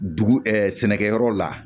Dugu sɛnɛkɛyɔrɔ la